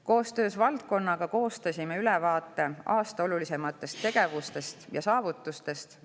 Koostöös valdkonnaga koostasime ülevaate aasta olulisematest tegevustest ja saavutustest.